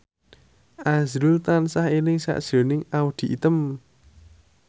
azrul tansah eling sakjroning Audy Item